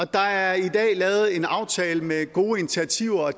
der er i dag lavet en aftale med gode initiativer og